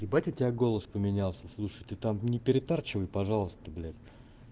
ебать у тебя голос поменялся слушай ты там не перетарчивай пожалуйста блять